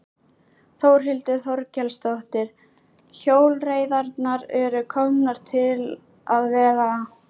Þórhildur Þorkelsdóttir: Hjólreiðarnar eru komnar til að vera?